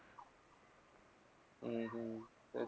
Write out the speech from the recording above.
हम्म हम्म तेच